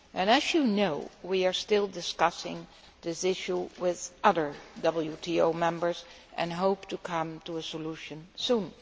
As you know, we are still discussing this issue with other WTO members and hope to come to a solution soon.